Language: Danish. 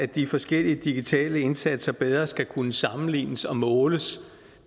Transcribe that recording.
de forskellige digitale indsatser bedre skal kunne sammenlignes og måles